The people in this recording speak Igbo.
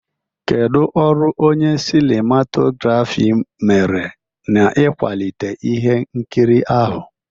Kedu ọrụ onye sinimatografi mere n'ịkwalite ihe nkiri ahụ?